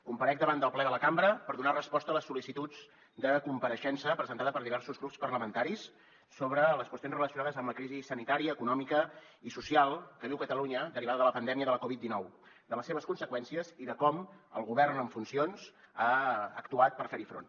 comparec davant del ple de la cambra per donar resposta a les sol·licituds de compareixença presentades per diversos grups parlamentaris sobre les qüestions relacionades amb la crisi sanitària econòmica i social que viu catalunya derivada de la pandèmia de la covid dinou de les seves conseqüències i de com el govern en funcions ha actuat per fer hi front